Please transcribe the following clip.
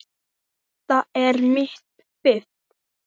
Þetta er mitt fiff.